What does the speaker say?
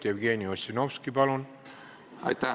Jevgeni Ossinovski, palun!